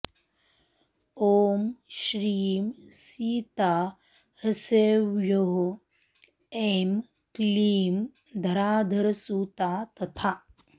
ॐ श्रीं सीता ह्सौः ऐं क्लीं धराधरसुता तथा